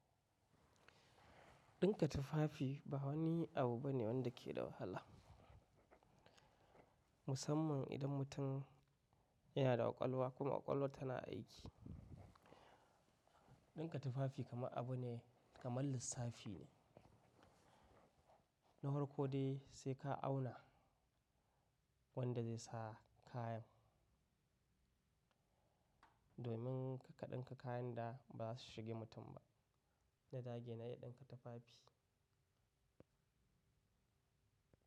Ɗinka tufafi ba wani abu bane wanda ke da wahala. Musamman idan mutum yana da ƙwaƙwalwa kuma ƙwaƙwalwar tana aiki. Ɗinka tufafi kamar abu ne kamar lissafi ne. Na hwarko dai sai ka auna wanda zai sa kayan. Domin kar ka ɗinka kayan da ba su shige mutum ba. Na dage na iya ɗinka tufafi.